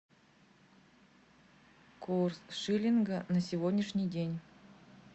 курс шиллинга на сегодняшний день